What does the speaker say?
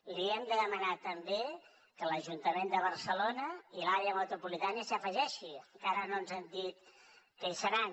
li hem de demanar també que l’ajuntament de barcelona i l’àrea metropolitana s’hi afegeixin encara no ens han dit que hi seran